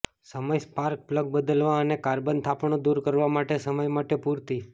સમય spark plug બદલવા અને કાર્બન થાપણો દૂર કરવા માટે સમય માટે પૂરતી